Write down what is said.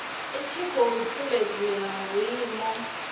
i tshi khou sumbedza vhuimo